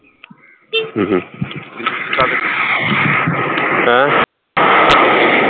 ਹਮ ਹਮ